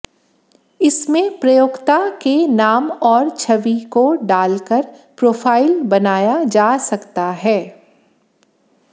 इसमें प्रयोक्ता के नाम और छवि को डालकर प्रोफ़ाइल बनाया जा सकता है